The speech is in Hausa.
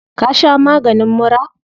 Ka sha maganin mura?